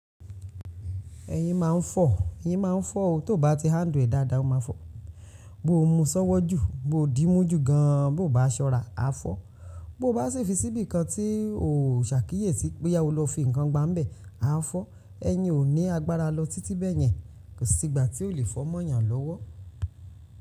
Ẹyin máa ń fọ̀, ẹyin máa ń fọ̀ o, tó bá ti hand ọ́ dáadáa, o máa fọ̀. Bo o mu sọ́wọ́ jù, bo o dímú jù gan an, bo o bá sọ́ra, a fọ̀. Bo o bá sì fi síbi kan tí o ò sàkíyèsí bo ya o lo fi ǹkan gba ń bẹ̀, a fọ̀. Ẹ̀yin ò ní agbára lọ títí bẹ̀yẹn, kò sí gbà tí o lè fọ́ mọ́yàn lọ́wọ́.